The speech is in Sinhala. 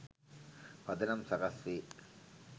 පදනම් සකස් වේ.